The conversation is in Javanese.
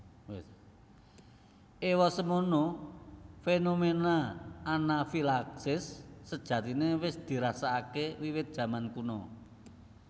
Ewasemono fenomena anafilaksis sejatine wis dirasakake wiwit jaman kuna